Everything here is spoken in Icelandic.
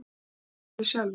Þið getið valið sjálfir.